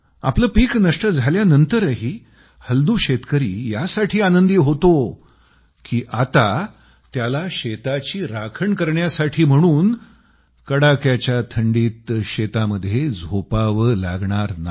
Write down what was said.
आपलं पिकं नष्ट झाल्यानंतरही हल्दू शेतकरी यासाठी आनंदी होतो की आता त्याला शेताची राखण करण्यासाठी म्हणून कडाक्याच्या थंडीत शेतामध्ये झोपावं लागणार नाही